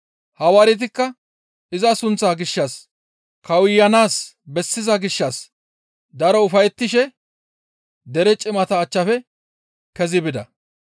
Hawaaretikka iza sunththa gishshas kawuyanaas bessiza gishshas daro ufayettishe dere cimata achchafe kezi bida.